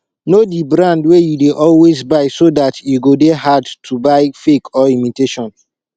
know di brand wey you dey always buy so dat e go dey hard to buy fake or imitation